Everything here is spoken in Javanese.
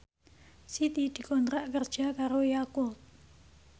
Siti dikontrak kerja karo Yakult